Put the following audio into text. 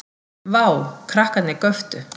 Vá. krakkarnir göptu.